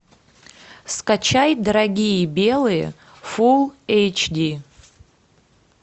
скачай дорогие белые фул эйч ди